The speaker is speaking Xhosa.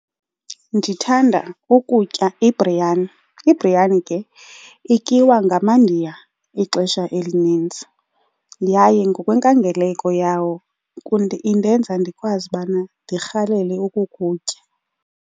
Ndithanda ukutya ibhriyani. Ibhriyani ke ityiwa ngamaNdiya ixesha elinintsi yaye ngokwenkangeleko yawo indenza ndikwazi ubana ndirhalele ukukutya.